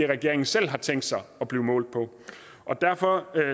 regeringen selv har tænkt sig at blive målt på derfor